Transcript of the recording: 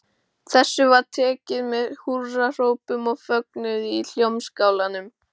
Þessu var tekið með húrrahrópum og fögnuði í Hljómskálanum.